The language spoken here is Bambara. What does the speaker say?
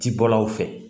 Ci bɔlaw fɛ